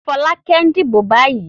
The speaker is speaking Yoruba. Fọ́lákẹ́ ń dìbò báyìí.